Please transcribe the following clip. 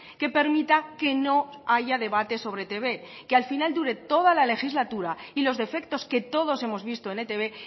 que permita que no haya debate sobre etb que al final dure toda la legislatura y los defectos que todos hemos visto en etb